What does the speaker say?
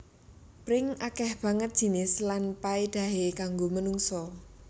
Pring akèh banget jinis lan paédahé kanggo menungsa